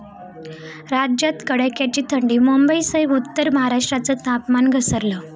राज्यात कडाक्याची थंडी, मुंबईसह उत्तर महाराष्ट्राचं तापमान घसरलं